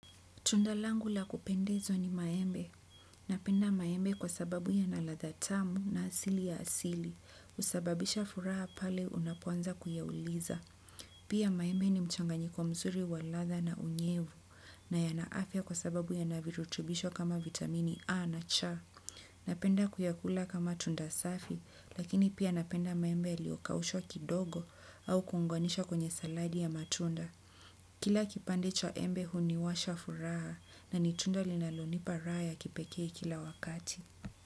Tundalangu la kupendezwa ni maembe. Napenda maembe kwa sababu yanaladha tamu na asili ya asili. Husababisha furaha pale unapoanza kuyauliza. Pia maembe ni mchanganyiko mzuri wa ladha na unyevu na yana afya kwa sababu yana virutubisho kama vitamini A na C. Napenda kuyakula kama tunda safi lakini pia napenda maembe yaliokaushwa kidogo au kuunganishwa kwenye saladi ya matunda. Kila kipande cha embe huniwasha furaha na ni tunda linalonipa raha ya kipekee kila wakati.